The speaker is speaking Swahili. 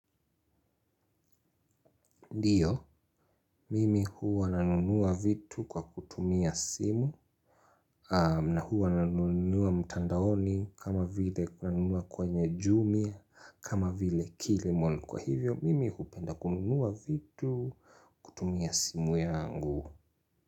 Ndiyo, mimi huwa nanunuwa vitu kwa kutumia simu na huwa nanunuwa mtandaoni kama vile nanunuwa kwenye jumia kama vile kilimal kwa hivyo mimi hupenda kununuwa vitu kutumia simu yangu.